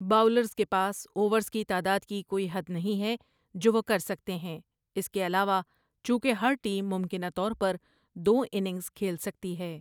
Bowlers کے پاس overs کی تعداد کی کوئی حد نہیں ہے جو وہ کر سکتے ہیں اس کے علاوہ، چونکہ ہر ٹیم ممکنہ طور پر دو اننگز کھیل سکتی ہے۔